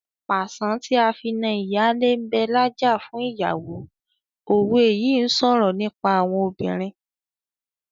"Pàṣán tí a fi na ìyálé ń bẹ lájà fún ìyàwó " òwe yìí ń sọ̀rọ̀ nípa àwọn obìnrin.